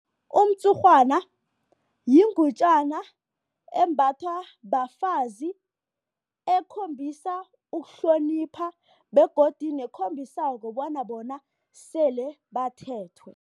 Umtshurhwana yingutjana embathwa bafazi ekhombisa ukuhlonipha begodu nekhombisako bona bona sele bathethwe.